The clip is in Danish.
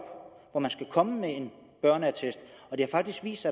hvor man skal komme med en børneattest og det har faktisk vist